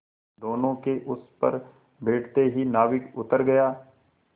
दोेनों के उस पर बैठते ही नाविक उतर गया